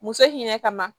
Muso hinɛ kama